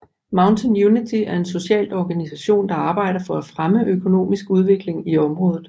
Mountain Unity er en socialt organisation der arbejder for at fremme økonomisk udvikling i området